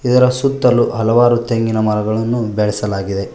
ಇದರ ಸುತ್ತಲು ಹಲವಾರು ತೆಂಗಿನ ಮರಗಳನ್ನು ಬೆಳೆಸಲಾಗಿದೆ.